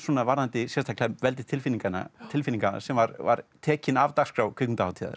varðandi sérstaklega veldi tilfinninganna tilfinninganna sem var var tekin af dagskrá kvikmyndahátíðar